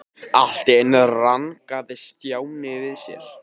Allt í einu rankaði Stjáni við sér.